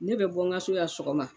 Ne bɛ bɔ n ka so yan sɔgɔma